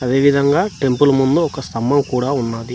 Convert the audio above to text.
అదే విధంగా టెంపుల్ ముందు ఒక స్తంభం కూడా ఉన్నది.